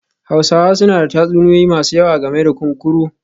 Hausawa suna da tatsuniyoyi masu yawa game da kunkuru